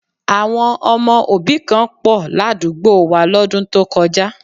Àwọn ọmọ òbí kan pọ̀ ládùúgbò wa lọ́dún tó kọjá